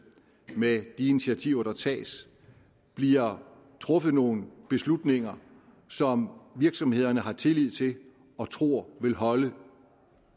med de initiativer der tages bliver truffet nogle beslutninger som virksomhederne har tillid til og tror vil holde